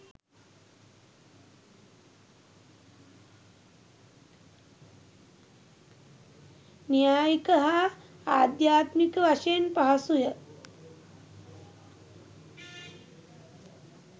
න්‍යායික හා අධ්‍යාත්මික වශයෙන් පහසුය.